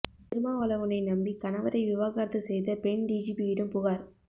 திருமாவளவனை நம்பி கணவரை விவாகரத்து செய்த பெண் டிஜிபியிடம் புகார்